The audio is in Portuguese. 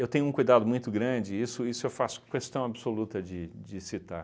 Eu tenho um cuidado muito grande, isso isso eu faço questão absoluta de de citar.